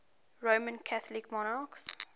roman catholic monarchs